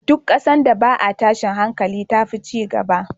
Duk ƙasan da ba a tashin hankali tafi cigaba